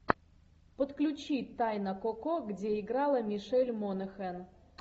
подключи тайна коко где играла мишель монахэн